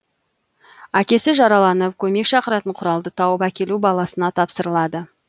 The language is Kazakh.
әкесі жараланып көмек шақыратын құралды тауып әкелу баласына тапсырылады